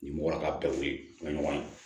Ni mɔgɔ ka bɛɛ ye o ka ɲɔgɔn ye